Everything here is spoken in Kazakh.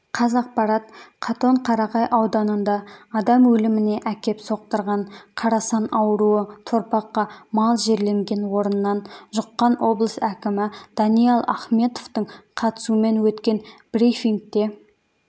қазақпарат катоқарағай ауданында адам өліміне әкеп соқтырған қарасан ауруы торпаққа мал жерленген орыннан жұққан облыс әкімі даниал ахметовтің қатысуымен өткен брифингте